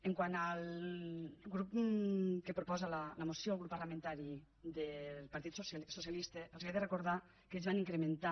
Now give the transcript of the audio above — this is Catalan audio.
quant al grup que proposa la moció el grup parlamentari del partit socialista els he de recordar que ells van incrementar